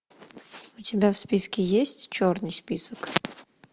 у тебя в списке есть черный список